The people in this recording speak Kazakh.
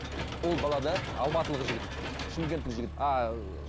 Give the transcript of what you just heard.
ұл бала да алматылық жігіт шымкенттік жігіт а ыыы